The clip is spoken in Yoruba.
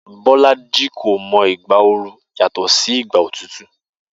Bó̩lájì kò mo̩ ìgbà oru yàtò̩ sí ìgbà òtútù